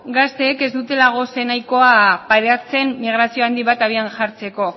gazteek ez dutela gose nahikoa pairatzen migrazio handi bat abian jartzeko